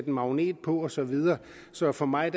en magnet på og så videre så for mig